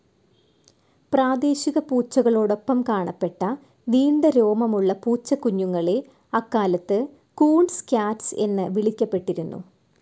പ്രാദേശിക പൂച്ചകളോടൊപ്പം കാണപ്പെട്ട നീണ്ട രോമമുള്ള പൂച്ചക്കുഞ്ഞുങ്ങളെ അക്കാലത്ത് കൂൺസ് ക്യാറ്റ്സ് എന്നു വിളിക്കപ്പെട്ടിരുന്നു.